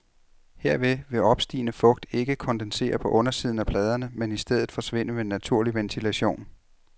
Herved vil opstigende fugt ikke kondensere på undersiden af pladerne, men i stedet forsvinde ved naturlig ventilation.